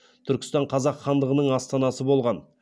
түркістан қазақ хандығының астанасы болған